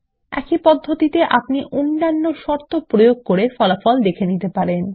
একই পদ্ধতিতে আপনি অন্যান্য শর্ত প্রয়োগ করে ফলাফল দেখে নিতে পারেন